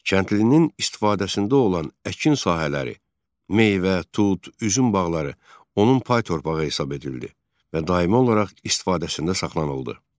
Kəndlinin istifadəsində olan əkin sahələri, meyvə, tud, üzüm bağları onun pay torpağı hesab edildi və daimi olaraq istifadəsində saxlanıldı.